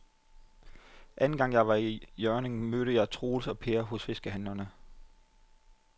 Anden gang jeg var i Hjørring, mødte jeg både Troels og Per hos fiskehandlerne.